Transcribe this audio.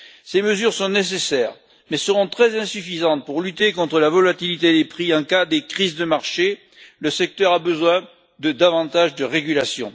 Ces mesures sont nécessaires mais seront très insuffisantes pour lutter contre la volatilité des prix en cas de crise de marché. Le secteur a besoin de davantage de régulation.